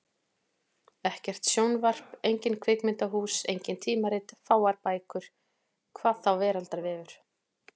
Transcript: Ekkert sjónvarp, engin kvikmyndahús, engin tímarit, fáar bækur. hvað þá veraldarvefur!